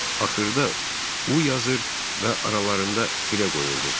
Axırda U yazır və aralarında tirə qoyurdu.